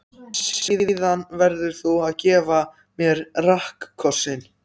Síðan verður þú að gefa mér rakkossinn.